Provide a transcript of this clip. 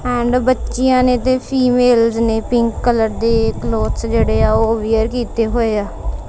And ਬੱਚਿਆਂ ਨੇਂ ਤੇ ਫੀਮੇਲਜ਼ ਨੇਂ ਪਿੰਕ ਕਲਰ ਦੇ ਕਲੋਥਸ ਜਿਹੜੇ ਆਂ ਉਹ ਵਿਅਰ ਕਿੱਤੇ ਹੋਏ ਆ।